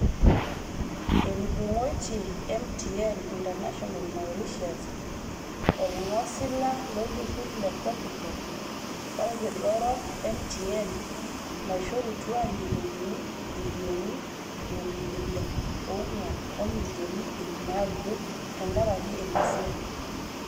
Etudungoitia MTN International Mauritius, olngosila lolturur le Kopikop olkila orok MTN naishorutua injilingi ibilioni ntomoni ile onguan o milioni iip naudo tenkaraki ina siai.